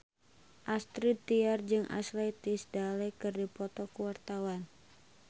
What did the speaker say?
Astrid Tiar jeung Ashley Tisdale keur dipoto ku wartawan